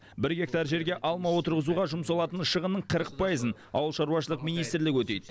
бір гектар жерге алма отырғызуға жұмсалатын шығынның қырық пайызын ауыл шаруашылығы министрлігі өтейді